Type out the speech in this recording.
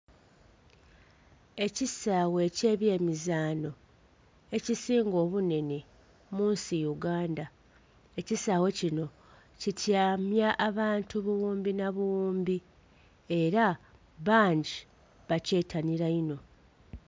Ekisaawe eky'ebyemizaano ekisinga obunhenhe munsi Uganda, ekisaawe kino kityamya abantu bughumbi na bughumbi era bangi bakyetanira inho.